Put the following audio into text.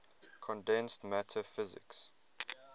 condensed matter physics